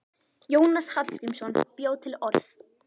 Jónas Hallgrímsson bjó til orð.